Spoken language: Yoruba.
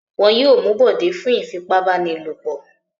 Wọn yóò mú Bọ̀dé fún ìfipábánilòpọ̀.